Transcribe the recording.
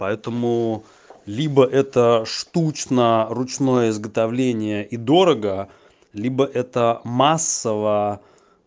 поэтому либо это штучно ручное изготовление и дорого либо это массово